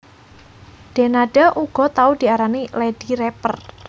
Denada uga tau diarani Lady Rapper